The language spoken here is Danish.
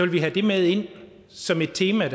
vi have det med ind som et tema